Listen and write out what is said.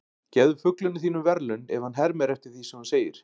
Gefðu fuglinum þínum verðlaun ef hann hermir eftir því sem þú segir.